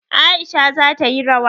Aisha za ta yi rawa.